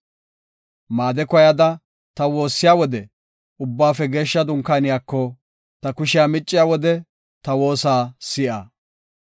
Maade koyada ta waassiya wode; ubbaafe geeshsha dunkaaniyako, ta kushiya micciya wode ta woosa si7a.